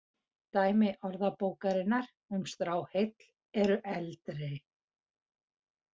Dæmi Orðabókarinnar um stráheill eru eldri.